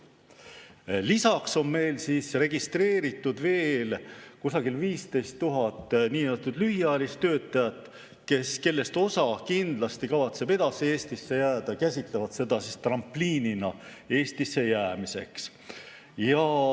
Lisaks on meil registreeritud veel kusagil 15 000 niinimetatud lühiajalist töötajat, kellest osa kindlasti kavatseb edasi Eestisse jääda, nad käsitlevad seda trampliinina Eestisse jäämiseks.